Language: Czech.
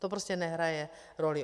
To prostě nehraje roli.